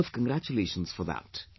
You deserve congratulations for that